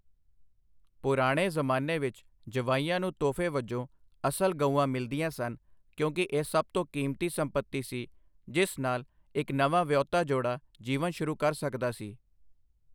ਪੁਰਾਣੇ ਜ਼ਮਾਨੇ ਵਿੱਚ ਜਵਾਈਆਂ ਨੂੰ ਤੋਹਫ਼ੇ ਵਜੋਂ ਅਸਲ ਗਊਆਂ ਮਿਲਦੀਆਂ ਸਨ, ਕਿਉਂਕਿ ਇਹ ਸਭ ਤੋਂ ਕੀਮਤੀ ਸੰਪਤੀ ਸੀ ਜਿਸ ਨਾਲ ਇੱਕ ਨਵਾਂ ਵਿਆਹੁਤਾ ਜੋੜਾ ਜੀਵਨ ਸ਼ੁਰੂ ਕਰ ਸਕਦਾ ਸੀ।